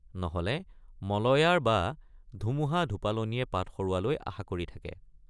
—নহলে মলয়াৰ বা ধুমুহাধুপালনিয়ে পাত সৰোৱালৈ আশা কৰি থাকে।